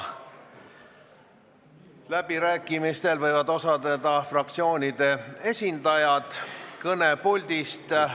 Läbirääkimistel võivad osaleda fraktsioonide esindajad kõnepuldist.